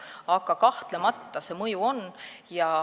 Aga kahtlemata see mõju on.